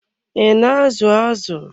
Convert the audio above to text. I na azu azụ?